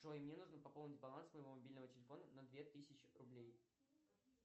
джой мне нужно пополнить баланс моего мобильного телефона на две тысячи рублей